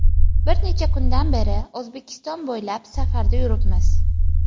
Bir necha kundan beri O‘zbekiston bo‘ylab safarda yuribmiz.